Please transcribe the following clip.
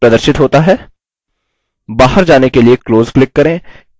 बाहर जाने के लिए close click करें